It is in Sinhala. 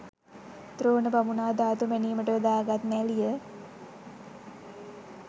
ද්‍රෝණ බමුණා ධාතු මැනීමට යොදාගත් නැළිය